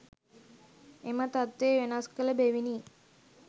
එම තත්වය වෙනස් කළ බැවිනි.